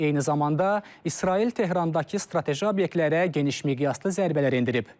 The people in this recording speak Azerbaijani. Eyni zamanda İsrail Tehrandakı strateji obyektlərə geniş miqyaslı zərbələr endirib.